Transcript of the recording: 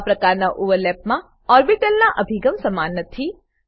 આવા પ્રકારના ઓવરલેપમા ઓર્બીટલના અભિગમ સમાન નથી